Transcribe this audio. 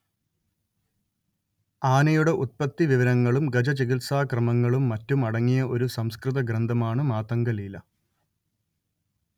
ആനയുടെ ഉത്പത്തിവിവരങ്ങളും ഗജചികിത്സാക്രമങ്ങളും മറ്റും അടങ്ങിയ ഒരു സംസ്കൃത ഗ്രന്ഥമാണ് മാതംഗലീല